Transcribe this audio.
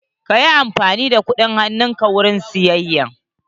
Ka yi amfani da kudin hanun ka wurin sayeyya.